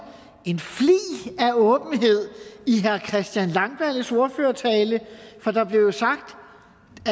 en flig af åbenhed i herre christian langballes ordførertale for der blev sagt